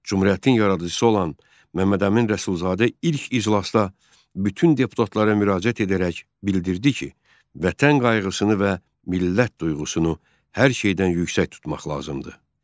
Cümhuriyyətin yaradıcısı olan Məmmədəmin Rəsulzadə ilk iclasda bütün deputatlara müraciət edərək bildirdi ki, vətən qayğısını və millət duyğusunu hər şeydən yüksək tutmaq lazımdır.